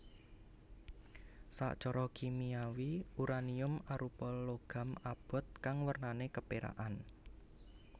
Sacra Kimiawi uranium arupa logam abot kang wernané kepérakan